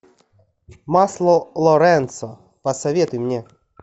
масло лоренцо посоветуй мне